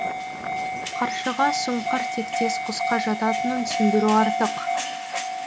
қаршыға сұңқар тектес құсқа жататынын түсіндіру артық